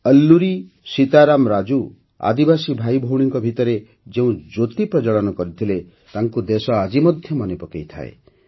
ଅଲ୍ଲୁରୀ ସୀତାରାମ ରାଜୁ ଆଦିବାସୀ ଭାଇଭଉଣୀଙ୍କ ଭିତରେ ଯେଉଁ ଜ୍ୟୋତି ପ୍ରଜ୍ୱଳନ କରିଥିଲେ ତାଙ୍କୁ ଦେଶ ଆଜି ମଧ୍ୟ ମନେ ପକାଇଥାଏ